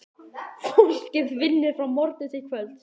Fólkið vinnur frá morgni til kvölds.